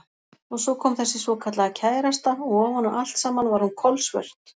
Og svo kom þessi svokallaða kærasta og ofan á allt saman var hún kolsvört.